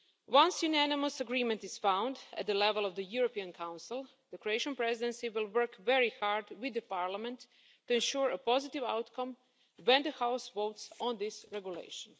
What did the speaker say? Once unanimous agreement is found at the level of the European Council, the Croatian Presidency will work very hard with the Parliament to ensure a positive outcome when the House votes on this regulation.